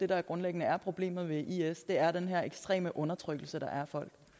der grundlæggende er problemet ved is er den her ekstreme undertrykkelse der er